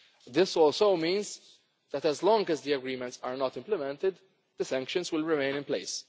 removed. This also means that as long as the agreements are not implemented the sanctions will remain